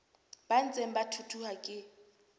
ba ntseng ba thuthuha ke